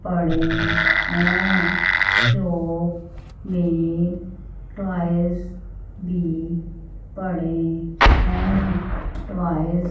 पड़े हैं शॉप में टॉयज भी पड़े हैं टॉयज --